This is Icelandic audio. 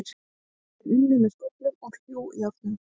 Þeir unnu með skóflum og hlújárnum.